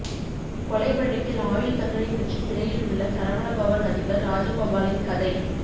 கொலை வழக்கில் ஆயுள் தண்டனை பெற்று சிறையில் உள்ள சரவணபவன் அதிபர் ராஜகோபாலின் கதை